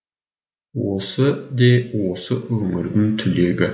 осы де осы өңірдің түлегі